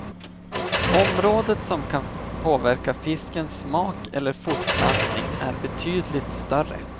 Området som kan påverka fiskens smak eller fortplantning är betydligt större.